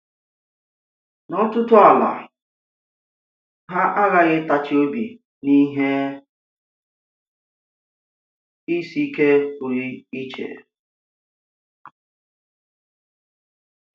N'ọ̀tụtụ àlà, ha aghàhị ịtàchi obi n’ihe ìsi ike pụrụ iche.